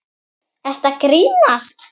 Ertu að grínast?